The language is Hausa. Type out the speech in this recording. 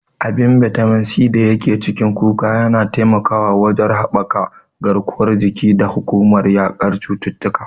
Abin bitamin C da yake cikin kuka yana taimakawa wajen haɓaka garkuwar jiki da kuma yaƙar cututtuka.